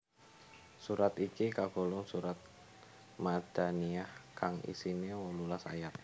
Surat iki kagolong surat madaniyah kang isine wolulas ayat